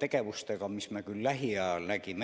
tegevustega, mis me alles lähiajal ette nägime.